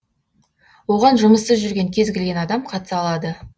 оған жұмыссыз жүрген кез келген адам қатыса алады